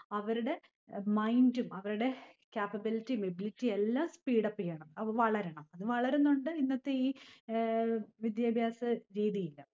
അവരുടെ mind ഉം അവരുടെ capability ഉം ability ഉം എല്ലാം speed up ചെയ്യണം. വളരണം. അത് വളരുന്നോണ്ട് ഇന്നത്തെ ഈ ഏർ വിദ്യാഭ്യാസ രീതീല്.